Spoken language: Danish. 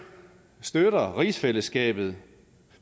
støtter rigsfællesskabet